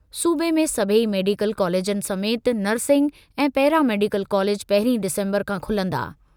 सूबे में सभेई मेडिकल कॉलेजनि समेति नर्सिंग ऐं पैरामेडिकल कॉलेज पहिरीं डिसंबर खां खुलंदा।